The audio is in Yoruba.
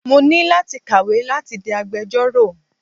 Mo ní láti kàwé láti di agbejọ́rò.